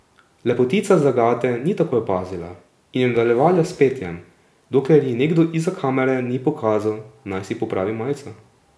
Lepotica zagate ni takoj opazila in je nadaljevala s petjem, dokler ji nekdo izza kamere ni pokazal, naj si popravi majico.